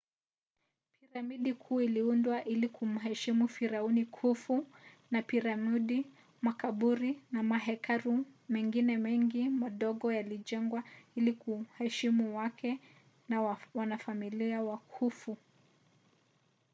piramidi kuu iliundwa ili kumheshimu firauni khufu na piramidi makaburi na mahekalu mengine mengi madogo yalijengwa ili kuheshimu wake na wanafamilia wa khufu